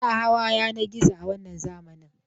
Ana hawa yanar gizo a wannan zamani.